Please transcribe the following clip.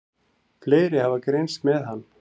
Fleiri hafa greinst með hann.